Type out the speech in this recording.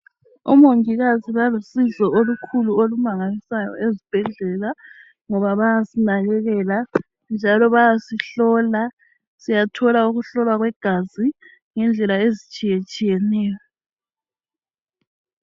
Omongikazi balusizo olumangalisayo ezibhendlela ngoba bayasinakakela njalo bayasihlola. Siyathola ukuhlolwa kwegazi ngendlela ezitshiyetshiyeneyo